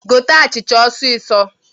Gote achịcha osisọ!